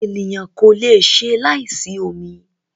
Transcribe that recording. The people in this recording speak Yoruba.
Ènìyàn kò lè ṣe láì sí omi.